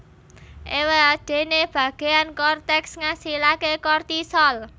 Éwadéné bagéan korteks ngasilaké kortisol